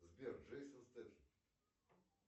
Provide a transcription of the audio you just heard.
сбер джейсон стетхем